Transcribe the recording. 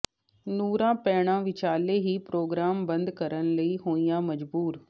ਨੂਰਾਂ ਭੈਣਾਂ ਵਿਚਾਲੇ ਹੀ ਪ੍ਰੋਗਰਾਮ ਬੰਦ ਕਰਨ ਲਈ ਹੋਈਆਂ ਮਜਬੂਰ